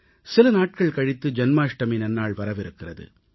சில நாட்கள் கழித்து ஜென்மாஷ்டமி நன்னாள் வரவிருக்கிறது